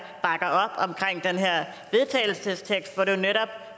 vedtagelsestekst hvor det netop